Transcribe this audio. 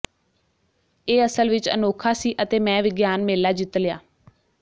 ਇਹ ਅਸਲ ਵਿੱਚ ਅਨੋਖਾ ਸੀ ਅਤੇ ਮੈਂ ਵਿਗਿਆਨ ਮੇਲਾ ਜਿੱਤ ਲਿਆ